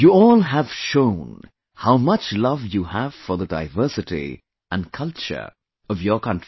You all have shown how much love you have for the diversity and culture of your country